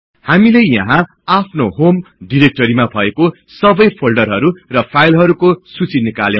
हामीले यहाँ आफ्नो होम डिरेक्टरीमा भएको सबै फोल्डरहरु र फाईलहरुको सुचि निकाल्यौ